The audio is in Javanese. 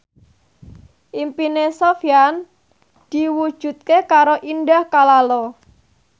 impine Sofyan diwujudke karo Indah Kalalo